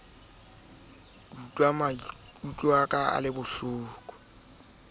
ata a ko qoqe ka